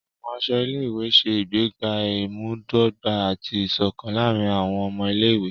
Àwọn aṣọ ilé-ìwé ṣe ìgbéga imudogba ati iṣọkan láàrin awọn ọmọ Ilé-ìwé.